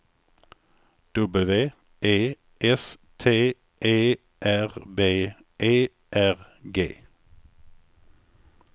W E S T E R B E R G